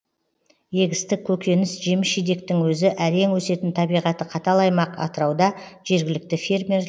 егістік көкөніс жеміс жидектің өзі әрең өсетін табиғаты қатал аймақ атырауда жергілікті фермер